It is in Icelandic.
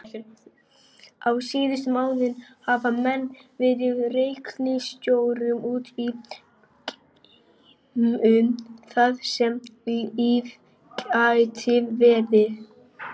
Á síðustu árum hafa menn fundið reikistjörnur út í geimnum þar sem líf gæti verið.